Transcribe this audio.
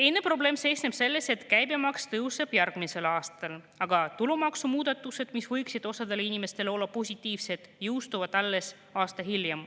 Teine probleem seisneb selles, et käibemaks tõuseb järgmisel aastal, aga tulumaksumuudatused, mis võiksid osale inimestele positiivsed olla, jõustuvad alles aasta hiljem.